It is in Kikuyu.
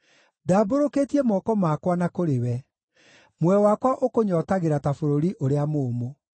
Ndambũrũkĩtie moko makwa na kũrĩ we; muoyo wakwa ũkũnyootagĩra ta bũrũri ũrĩa mũũmũ.